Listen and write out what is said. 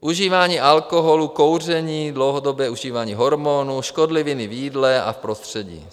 užívání alkoholu, kouření, dlouhodobé užívání hormonů, škodliviny v jídle a v prostředí.